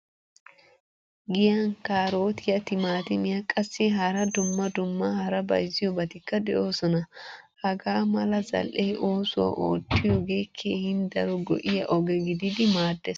Giyan karotiyaa, timatimiyaa qassi hara dumma dumma hara bayzziyobatikka deosona. Hagaa mala zal'e oosuwaa ootiyoge keehin daro go'iya oge gididi maaddees.